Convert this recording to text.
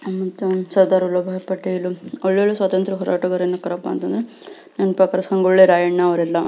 ಸರ್ದಾರ್ ವಲ್ಲಭಬಾಯ್ ಪಟೇಲ್ ಒಳ್ಳೊಳ್ಳೆ ಸ್ವತಂತ್ರ ಹೋರಾಟಗಾರರ ಏನಕರಪ್ಪ ಅಂತಂದ್ರ ನೆನ್ಪಾಕರ ಸಂಗೊಳ್ಳಿ ರಾಯಣ್ಣ ಅವ್ರೆಲ್ಲ --